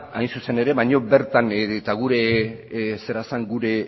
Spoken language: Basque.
hain zuzen ere gure